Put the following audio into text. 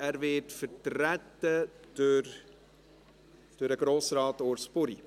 Er wird vertreten durch Grossrat Urs Buri.